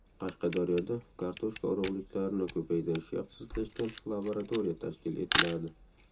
Qashqadaryoda kartoshka urug‘liklarini ko‘paytirishga ixtisoslashgan laboratoriya tashkil etiladi.